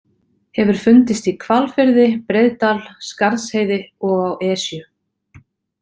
Hefur fundist í Hvalfirði, Breiðdal, Skarðsheiði og á Esju.